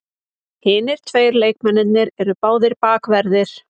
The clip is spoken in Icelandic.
Hinir tveir leikmennirnir eru báðir bakverðir